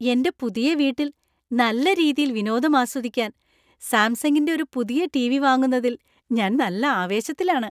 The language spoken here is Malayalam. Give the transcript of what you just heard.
എന്‍റെ പുതിയ വീട്ടിൽ നല്ല രീതിയിൽ വിനോദം ആസ്വദിക്കാൻ സാംസങ്ങിന്‍റെ ഒരു പുതിയ ടിവി വാങ്ങുന്നതിൽ ഞാൻ നല്ല ആവേശത്തിലാണ്.